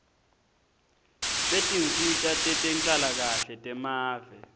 setinsita tetenhlalakahle temave